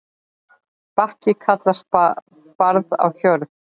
Bakki kallast barð á jörð.